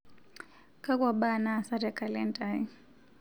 kakua mbaa naasa tee kalenda ai